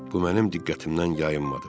Bu mənim diqqətimdən yayınmadı.